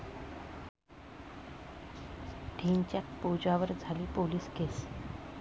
ढिंच्याक पूजावर झाली 'पोलीस केस'